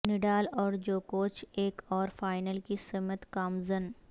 Nadal اور جوکووچ ایک اور فائنل کی سمت گامزن